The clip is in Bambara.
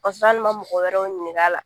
Kasɔrɔ hali ma mɔgɔ wɛrɛw ɲininka a la